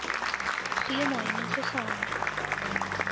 goeie omheining gaan